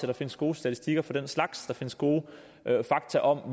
der findes gode statistikker for den slags og der findes gode fakta om